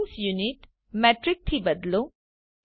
scene unit metric થી બદલો